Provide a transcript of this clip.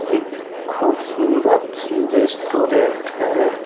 एक खूबसूरत सी रेस्टोरेंट है।